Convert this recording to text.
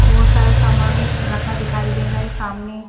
बहोत सारा सामान रखा दिखाई दे रहा है सामने--